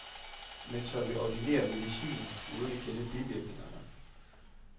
Men tør vi ordinere medicinen uden at kende bivirkningerne?